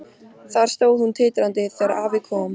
Þar stóð hún titrandi þegar afi kom.